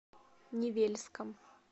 невельском